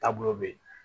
Taabolo be yen